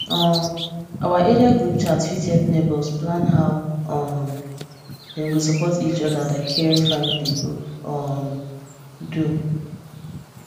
um our area group chat fit help neighbours plan how um dem go support each other like caring family go um do